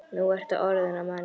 Nú ertu orðinn að manni.